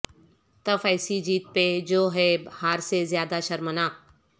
تف ایسی جیت پہ جو ہے ہار سے زیادہ شرمناک